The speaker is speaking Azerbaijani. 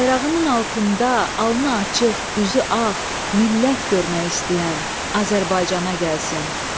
Bayrağının altında alnı açıq, üzü ağ millət görmək istəyən Azərbaycana gəlsin.